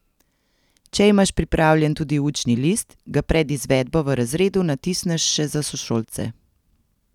Če imaš pripravljen tudi učni list, ga pred izvedbo v razredu natisneš še za sošolce.